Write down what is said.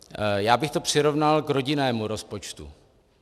Já bych to přirovnal k rodinnému rozpočtu.